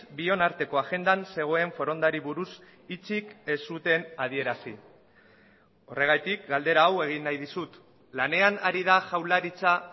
bion arteko agendan zegoen forondari buruz hitzik ez zuten adierazi horregatik galdera hau egin nahi dizut lanean ari da jaurlaritza